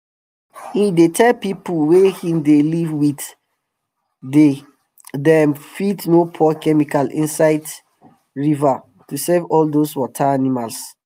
he dey tell pipu wey him dey live with day dem fit no pour chemical inside rivers to safe all dose water animals